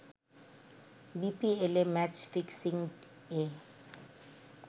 বিপিএলে match fixing য়ে